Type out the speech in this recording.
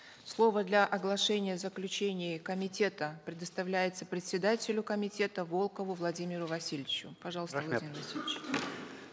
слово для оглашения заключений комитета предоставляется председателю комитета волкову владимиру васильевичу пожалуйста рахмет